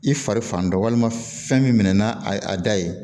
I fari fan dɔ walima fɛn min mɛna a da ye